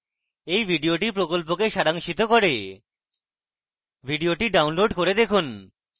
এই video প্রকল্পকে সারাংশিত করে video download করে দেখুন